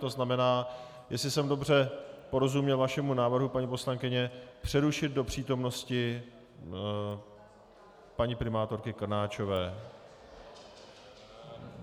To znamená, jestli jsem dobře porozuměl vašemu návrhu, paní poslankyně, přerušit do přítomnosti paní primátorky Krnáčové.